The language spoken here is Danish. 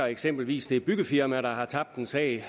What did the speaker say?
eksempelvis det byggefirma der har tabt en sag